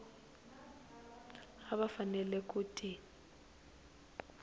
a va fanele ku ti